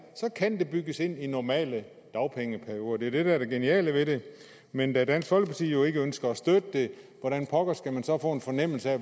så kan det bygges ind i normale dagpengeperioder det er det der er det geniale ved det men da dansk folkeparti jo ikke ønsker at støtte det hvordan pokker skal man så få en fornemmelse af